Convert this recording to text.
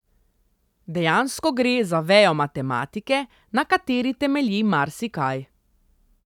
Dejansko gre za vejo matematike, na kateri temelji marsikaj.